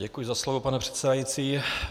Děkuji za slovo, pane předsedající.